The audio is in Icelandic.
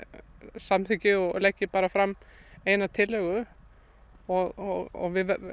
samþykki og leggi bara fram eina tillögu og